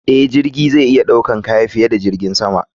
Eh, jirgi zai iya ɗaukan kaya diye da jirgin sama.